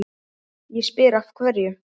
Ég spyr, af hverju?